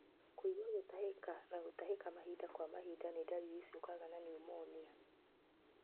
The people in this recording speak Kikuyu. Kũigua gũtahĩka na gũtahĩka mahinda kwa mahinda nĩ ndariri ciũkaga na pneumonia.